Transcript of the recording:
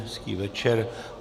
Hezký večer.